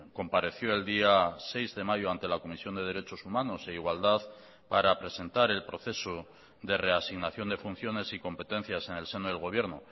compareció el día seis de mayo ante la comisión de derechos humanos e igualdad para presentar el proceso de reasignación de funciones y competencias en el seno del gobierno